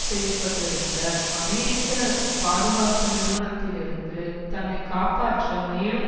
செய்ய பட்டு இருந்த அமெரிக்க பாதுகாப்பு நிறுவனத்திலிருந்து தன்னை காப்பாற்ற மேலும்